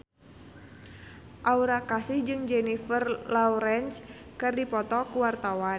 Aura Kasih jeung Jennifer Lawrence keur dipoto ku wartawan